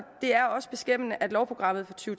det er også beskæmmende at lovprogrammet for to